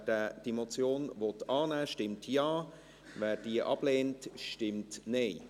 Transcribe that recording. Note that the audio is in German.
Wer diese Motion annehmen will, stimmt Ja, wer diese ablehnt, stimmt Nein.